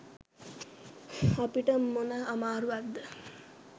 අපිට මොන අමාරුවක්ද?